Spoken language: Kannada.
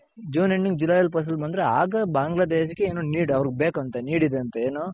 June, Ending July ಅಲ್ಲಿ ಫಸಲ್ ಬಂದ್ರೆ ಆಗ ಬಾಂಗ್ಲದೇಶಕ್ಕೆ ಏನೋ need ಅವ್ರಗ್ ಬೇಕಂತೆ need ಇದೆ ಅಂತೆ ಏನು